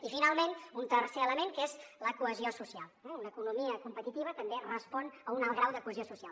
i finalment un tercer element que és la cohesió social una economia competitiva també respon a un alt grau de cohesió social